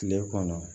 Kile kɔnɔ